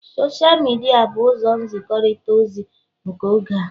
Sosha midia bụ ụzọ nzikọrịta ozi nke oge a